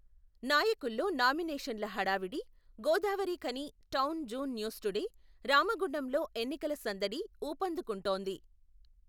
నాయకుల్లో నామినేషన్ల హడావిడి, గోదావరిఖని టౌన్ జూన్ న్యూస్టుడే, రామగుండంలో ఎన్నికల సందడి, ఊపందకుంటోంది.